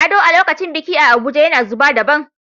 Ado a lokacin biki a Abuja yana zuba daban.